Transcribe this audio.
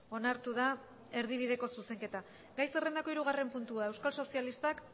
onartu da erdibideko zuzenketa gai zerrendako hirugarren puntua euskal sozialistak